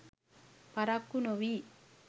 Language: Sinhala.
පරක්කු නොවී